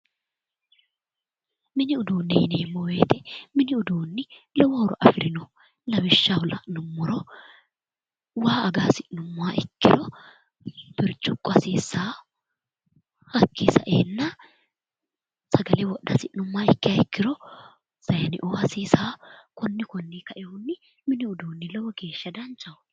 Mini uduunne yineemmo wiyitw mini uduuni lowo horo afirino lawishshaho la'numoha ikkiro waa aga hasi'nummoro birciqqo hasiissanno hakkii saeenna sagale wodha hasi'nummoha ikkiha ikkiro sayiineo hasiisano konni konninni kainohunni mini uduuni lowo geeshsha danchaho.